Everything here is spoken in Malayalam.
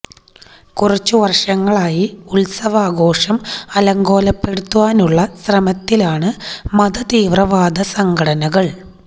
കുറച്ച് വര്ഷങ്ങളായി ഉത്സവാഘോഷം അലങ്കോലപെടുത്താനുള്ള ശ്രമത്തിലാണ് മത തീവ്രവാദ സംഘടനകള്